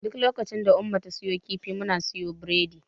Duk lokacin da Umma ta siyo kifi, muna siyo biredi.